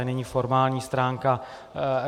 A nyní formální stránka.